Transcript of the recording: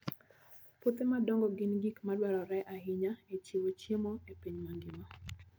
Puothe madongo gin gik madwarore ahinya e chiwo chiemo e piny mangima.